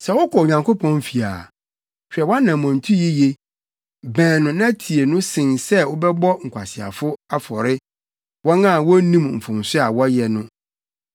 Sɛ wokɔ Onyankopɔn fi a, hwɛ wʼanammɔntu yiye. Bɛn no na tie no sen sɛ wobɛbɔ nkwaseafo afɔre, wɔn a wonnim mfomso a wɔyɛ no.